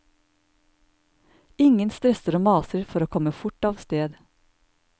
Ingen stresser og maser for å komme fort av sted.